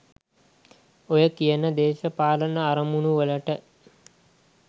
ඔය කියන දේශපාලන අරමුණුවලට